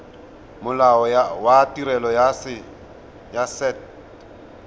molao wa tirelo ya set